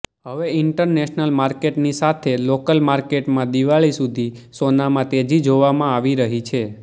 હવે ઇન્ટરનેશનલ માર્કેટની સાથે લોકલ માર્કેટમાં દિવાળી સુધી સોનામાં તેજી જોવામાં આવી રહી છે